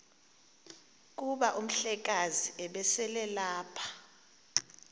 kuba umhlekazi ubeselelapha